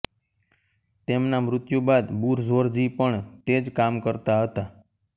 તેમના મૃત્યુ બાદ બુરઝોરજી પણ તે જ કામ કરતા હતા